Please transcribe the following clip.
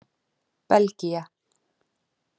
Belgía